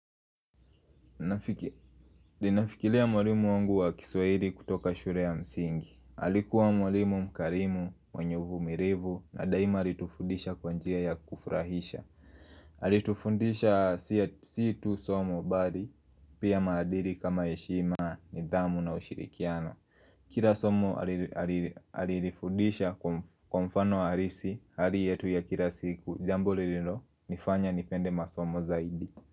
Ninafikiria mwalimu wangu wa kiswahili kutoka shule ya msingi. Alikuwa mwalimu mkarimu, mwenyevu uvumilivu na daima alitufundisha kwa njia ya kufurahisha Alitufundisha situ somo bali, Pia madili kama heshima nidhamu na ushirikiano Kila somo alilifundisha kwa mfano halisi Hali yetu ya kila siku Jambo lililonifanya nipende masomo zaidi.